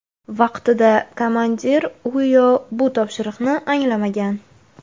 Vaqtida komandir u yo bu topshiriqni anglamagan.